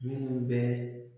Minnu bɛ